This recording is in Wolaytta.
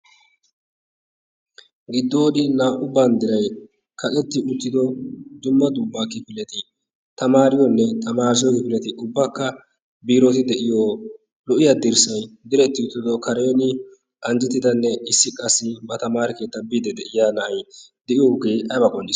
Giddoon naa"u banddiray kaqetti uttido dumma dumma kifileti tamaariyonne tamaarissiyo kifileti ubbakka biiroti de'iyo lo"iya dirssan diretti uttida kareeni anjjettidanne issi qassi ba taamare keettaa biiddi de'iya na'ay de'iyoogee aybaa qonccissii?